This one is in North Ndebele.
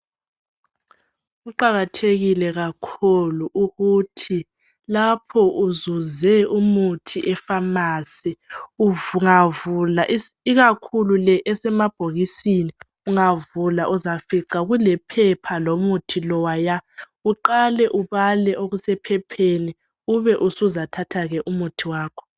Kuqakathekile kakhulu ukuthi lapho uzuze umuthi epharmacy ungavula ikakhulu le esemabhokisini ungavula uzafica kulephepha lomuthi lowaya uqale ubale okusephepheni ube usuzaththa ke umuthi wakho.